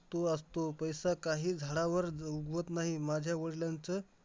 आणि मॅडमनी प्रयोग दिलेले तर मी माझा पूर्ण करायचा होता तर पहिल्या दिवशी मला माहित होतं मी पूर्ण करणार तर